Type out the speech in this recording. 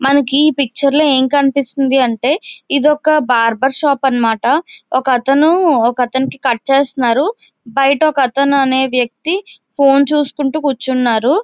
మనకి ఈ పిక్చర్ లో ఏమి కనిపిస్తుంది అంటే ఇది ఒక్క బార్బర్ షాప్ అన్నమాట. ఒక్క అతను ఒక్క ఆతనికి కట్ చేస్తున్నారు. బయట ఒక్క అతను అనే వ్యక్తి ఫోన్ చూస్తూ కూర్చున్నారు.